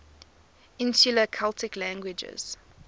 insular celtic languages